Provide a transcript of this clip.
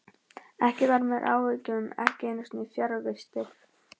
Ekkert varð mér að áhyggjum, ekki einu sinni fjarvistir.